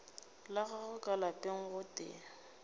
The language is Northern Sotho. la gagwe ka lapeng gotee